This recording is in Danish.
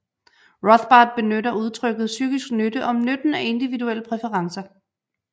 Rothbard benytter udtrykket psykisk nytte om nytten af individuelle præferencer